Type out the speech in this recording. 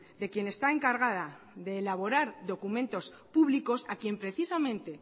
de quien está encargada de elaborar documentos públicos a quien precisamente